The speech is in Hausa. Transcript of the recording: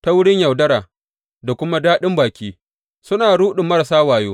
Ta wurin yaudara da kuma daɗin baki, suna ruɗin marasa wayo.